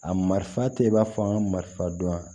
A marifa tɛ i b'a fɔ an ka marifan dɔn